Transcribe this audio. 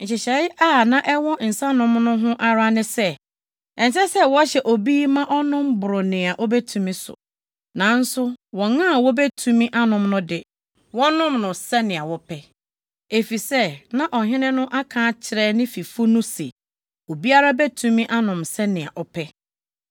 Nhyehyɛe a na ɛwɔ nsanom no ho ara ne sɛ, ɛnsɛ sɛ wɔhyɛ obi ma ɔnom boro nea obetumi so. Nanso wɔn a wobetumi anom no de, wɔnom sɛnea wɔpɛ, efisɛ na ɔhene no aka akyerɛ ne fifo no se obiara betumi anom sɛnea ɔpɛ.